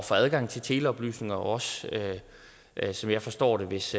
få adgang til teleoplysninger også som jeg forstår det hvis